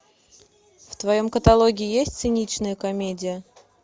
в твоем каталоге есть циничная комедия